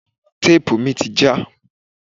Téèpù mi ti já.